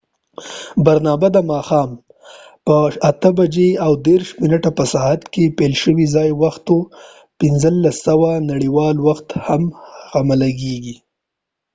برنامه د ماښام په ۸:۳۰ په ساعت کي پیل شوه ځایی وخت ۱۵:۰۰ د نړیوال وخت همغږی شوی۔